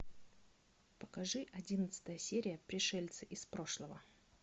покажи одиннадцатая серия пришельцы из прошлого